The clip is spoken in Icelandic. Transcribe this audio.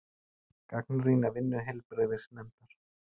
Gagnrýna vinnu heilbrigðisnefndar